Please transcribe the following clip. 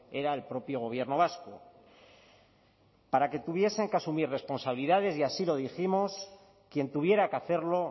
era el propio gobierno vasco para que tuviesen que asumir responsabilidades y así lo dijimos quien tuviera que hacerlo